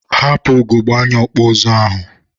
hapụ ugogbe anya ọkpụ ụzụ ahụ!